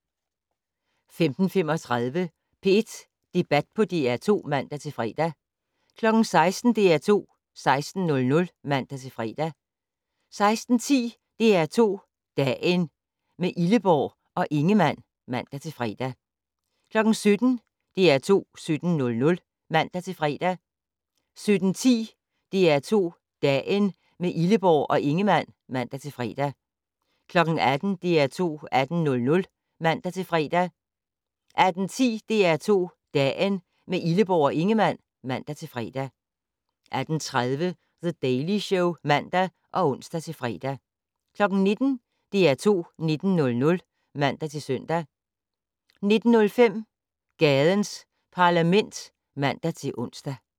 15:35: P1 Debat på DR2 (man-fre) 16:00: DR2 16:00 (man-fre) 16:10: DR2 Dagen - med Illeborg og Ingemann (man-fre) 17:00: DR2 17:00 (man-fre) 17:10: DR2 Dagen - med Illeborg og Ingemann (man-fre) 18:00: DR2 18:00 (man-fre) 18:10: DR2 Dagen - med Illeborg og Ingemann (man-fre) 18:30: The Daily Show (man og ons-fre) 19:00: DR2 19:00 (man-søn) 19:05: Gadens Parlament (man-ons)